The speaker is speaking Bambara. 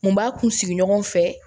N b'a kun sigi ɲɔgɔn fɛ